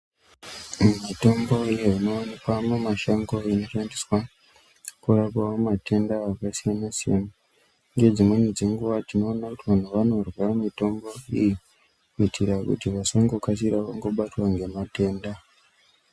Mitombo iyo ino wanikwa mu mashango mitombo ino shandiswa kurapa matenda aka siyana siyana nge dzimweni dzenguva tinoona kuti vantu vanorya mitombo iyi kuitira kuti vasango kasira kungo batwa nge matenda.